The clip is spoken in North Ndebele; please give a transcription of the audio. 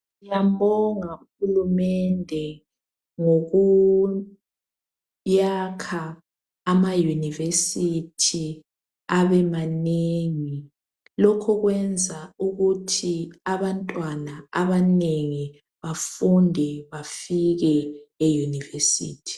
siyambonga uhulumende ngokuyakha ama university abe manengi lokhu kwenza ukuthi abantwana abanengi bafunde bafike e university